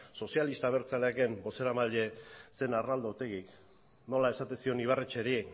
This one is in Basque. sozialista abertzaleaken bozeramaile zen arnaldo otegik nola esaten zion ibarretxeri